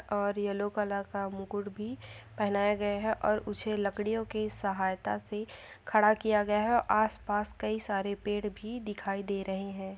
और yellow colour का मुकुट भी पहनाया गया है और उसे लकड़ियो की सहायता से खड़ा किया गया है आस पास कई सारे पेड़ भी दिखाई दे रहे है।